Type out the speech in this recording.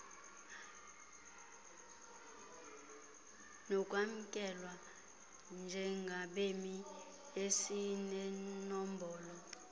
sokwamkelwa njengabemi esinenombolo